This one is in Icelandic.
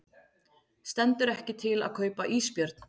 Stendur ekki til að kaupa ísbjörn